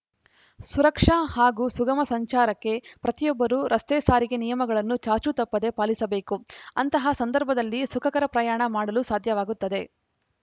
ಸುರಕ್ಷಾ ಹಾಗೂ ಸುಗಮ ಸಂಚಾರಕ್ಕೆ ಪ್ರತಿಯೊಬ್ಬರು ರಸ್ತೆ ಸಾರಿಗೆ ನಿಯಮಗಳನ್ನು ಚಾಚೂ ತಪ್ಪದೇ ಪಾಲಿಸಬೇಕು ಅಂತಹ ಸಂದರ್ಭದಲ್ಲಿ ಸುಖಕರ ಪ್ರಯಾಣ ಮಾಡಲು ಸಾಧ್ಯವಾಗುತ್ತದೆ